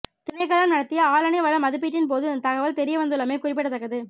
திணைக்களம் நடத்திய ஆளனி வள மதிப்பீட்டின் போது இந்தத் தகவல் தெரியவந்துள்ளமை குறிப்பிடத்தக்கது